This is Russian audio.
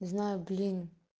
знаю блин